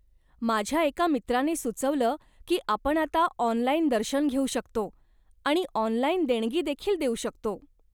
माझ्या एका मित्राने सुचवलं की आपण आता ऑनलाइन दर्शन घेऊ शकतो आणि ऑनलाइन देणगी देखील देऊ शकतो.